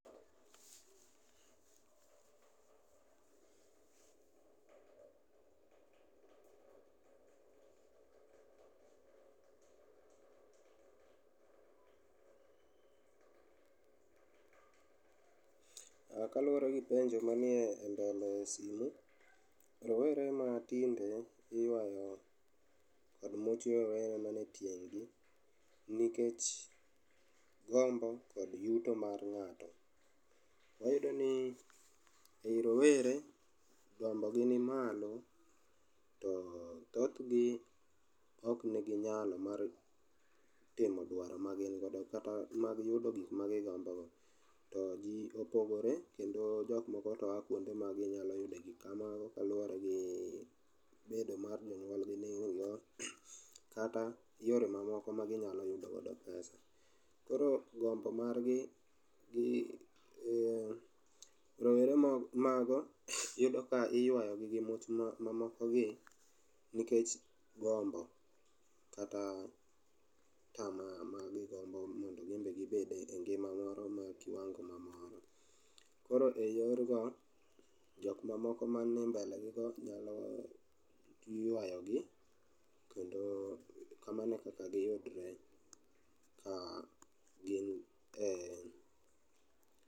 Ah, kaluwore gi penjo manie e mbele simu, rowere ma tinde iywao kod much rowere man e tieng' gi. Nikech gombo kod yuto mar ng'ato, wayudo ni ei rowere gombo gi ni malo to thothgi ok nigi nyalo mar timo dwaro ma gin godo kata mag yudo gik magigombo go. To ji opogore, kendo jokmoko to a kuonde ma ginyalo yudo gikamago kaluwore gi bedo mar jonyuolgi ni onge go kata yore mamoko ma ginya yudogodo pesa. Koro gombo margi gi eh, rowere mo, mago iyudo ka iywayogi gi much mamokogi nikech gombo kata tamaa ma gigombo mondo gimbe gibede e kiwango ma moro. Koro e yorgo, jok mamoko manie mbelegi go nyalo ywayogi. Kendo kamano e kaka giyudre ka gin e.